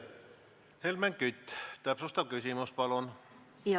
Helmen Kütt, täpsustav küsimus, palun!